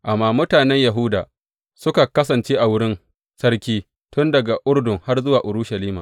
Amma mutanen Yahuda suka kasance a wurin sarki tun daga Urdun har zuwa Urushalima.